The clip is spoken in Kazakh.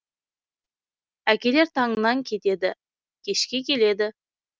әкелер таңнан кетеді кешке келеді